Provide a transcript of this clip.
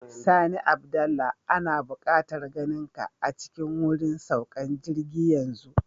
Sani Abdullah, ana bukatar ganinka a cikin wurin saukan jirgi yanzu.